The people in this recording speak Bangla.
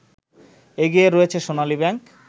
এগিয়ে রয়েছে সোনালী ব্যাংক